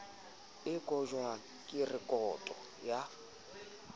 e kotjwang ke rekoto ya